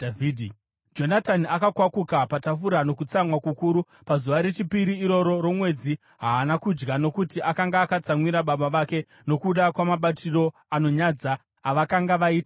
Jonatani akakwakuka patafura nokutsamwa kukuru; pazuva rechipiri iroro romwedzi haana kudya, nokuti akanga akatsamwira baba vake nokuda kwamabatiro anonyadza avakanga vaita Dhavhidhi.